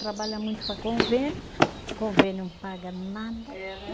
Trabalha muito para convênio, convênio paga nada. É, né